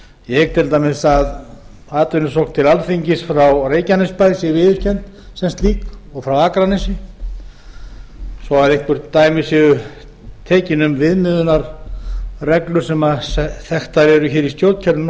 ég hygg til dæmis að atvinnusókn til alþingis frá reykjanesbæ sé viðurkennd sem slík og frá akranesi svo eitthvert dæmi séu tekin um viðmiðunarreglur sem þekktar eru í